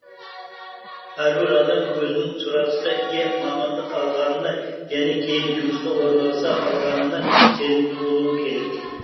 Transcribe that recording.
әрбір адам өзінің сұранысқа ие мамандық алғанына және кейін жұмысқа орналаса алғанына сенімді болуы керек